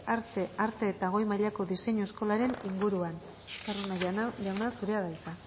arte arte eta goi mailako diseinu eskolaren inguruan estarrona jauna zurea da hitza